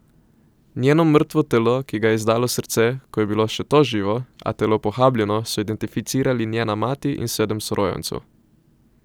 Njeno mrtvo telo, ki ga je izdalo srce, ko je bilo to še živo, a telo pohabljeno, so identificirali njena mati in sedem sorojencev.